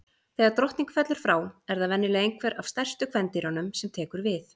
Þegar drottning fellur frá, er það venjulega einhver af stærstu kvendýrunum sem tekur við.